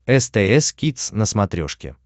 стс кидс на смотрешке